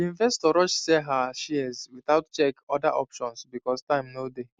the investor rush sell her shares without check other options because time no dey